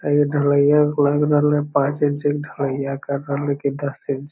ये ढ़लईया लग रहलै पाँच इंची ढ़लईया कर रहलै की दस इंच --